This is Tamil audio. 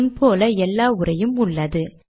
முன் போல எல்லா உரையும் உள்ளது